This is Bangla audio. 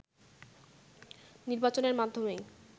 নির্বাচনের মাধ্যমেই